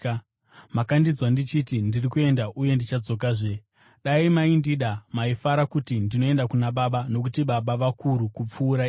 “Makandinzwa ndichiti, ‘Ndiri kuenda uye ndichadzokazve.’ Dai maindida maifara kuti ndinoenda kuna Baba, nokuti Baba vakuru kupfuura ini.